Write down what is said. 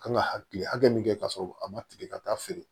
Kan ka hakili hakɛ min kɛ k'a sɔrɔ a ma tigɛ ka taa feere